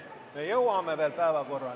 Me jõuame veel päevakorrani.